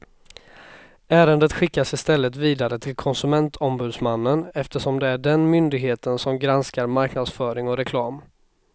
Ärendet skickas istället vidare till konsumentombudsmannen eftersom det är den myndigheten som granskar marknadsföring och reklam.